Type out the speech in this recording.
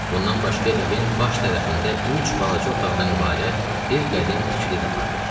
Bundan başqa evin baş tərəfində üç balaca otaqdan ibarət bir qədim tikili də vardı.